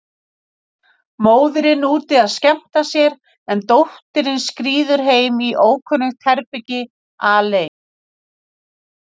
Móðirin úti að skemmta sér, en dóttirin skríður heim í ókunnugt herbergi, alein.